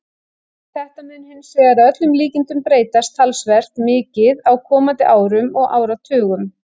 Þetta mun hins vegar að öllum líkindum breytast talsvert mikið á komandi árum og áratugum.